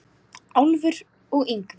Álfur og Yngvi